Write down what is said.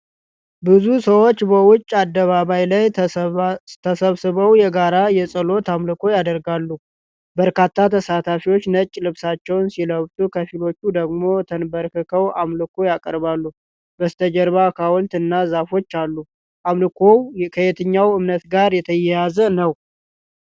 ብዙ ሰዎች በውጪ አደባባይ ላይ ተሰብስበው የጋራ የጸሎት አምልኮ ያደርጋሉ። በርካታ ተሳታፊዎች ነጭ ልብሶችን ሲለብሱ ከፊሎቹ ደግሞ ተንበርክከው አምልኮ ያቀርባሉ። በስተጀርባ ሐውልት እና ዛፎች አሉ። አምልኮው ከየትኛው እምነት ጋር የተያያዘ ነው?